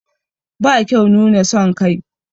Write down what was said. Ba kyau nuna son kai.